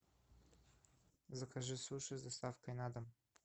закажи суши с доставкой на дом